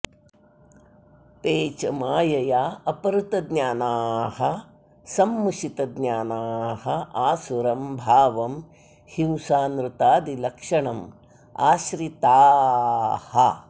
ते च मायया अपहृतज्ञानाः सम्मुषितज्ञानाः आसुरं भावं हिंसानृतादिलक्षणम् आश्रिताः